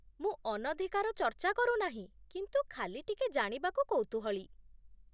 ମୁଁ ଅନଧିକାର ଚର୍ଚ୍ଚା କରୁନାହିଁ, କିନ୍ତୁ ଖାଲି ଟିକେ ଜାଣିବାକୁ କୌତୂହଳୀ